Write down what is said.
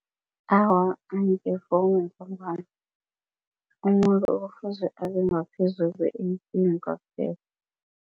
Awa, umuntu